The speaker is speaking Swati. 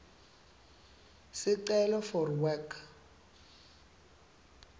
sicelo for work